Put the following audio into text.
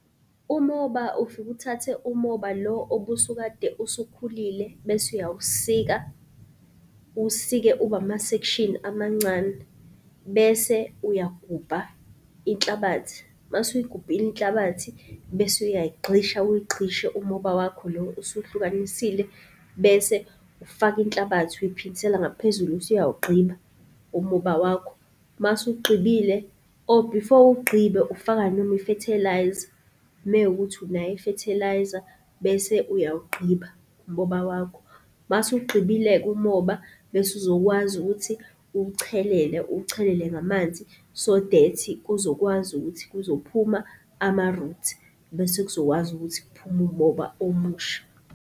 Umoba, ufike uthathe umoba lo obusukade usukhulile bese uyawusika uwusike ube amasekshini amancane bese uyagubha inhlabathi. Mase uyigubhile inhlabathi bese uyayigqisha uyigqishe umoba wakho lo osuwuhlukanisile bese ufaka inhlabathi uyiphindisela ngaphezulu, bese uyawugqiba umoba wakho. Masuwugqibile, before uwugqibe ufaka noma i-fertiliser mewukuthi unayo i-fertiliser bese uyawugqiba umoba wakho. Masuwugqibile-ke umoba bese uzokwazi ukuthi uwuchelele, uwuchelele ngamanzi, so that kuzokwazi ukuthi kuzophuma ama-roots bese kuzokwazi ukuthi kuphume umoba omusha.